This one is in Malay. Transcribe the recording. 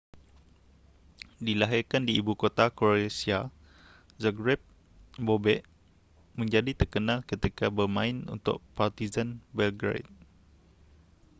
dilahirkan di ibu kota croatia zagreb bobek menjadi terkenal ketika bermain untuk partizan belgrade